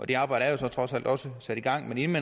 det arbejde er jo så trods alt også sat i gang men inden